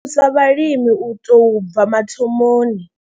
Ri thusa vhalimi u tou bva mathomoni.